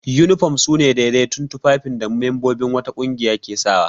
Yunifom su ne daidaitattun tufafin da membobin wata ƙungiya ke sawa.